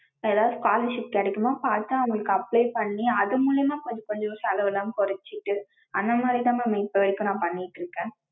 ஏதாவது scholarship கெடைக்குமான்னு பாத்து அதுக்கு apply பண்ணி அது மூலியமா கொஞ்ச கொஞ்ச செலவலாம் குறச்சிட்டு, அந்த மாதிரி தான் mam இப்ப வரைக்கும் நா பண்ணிட்டு இருக்கேன்.